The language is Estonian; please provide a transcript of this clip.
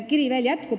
Kiri veel jätkub.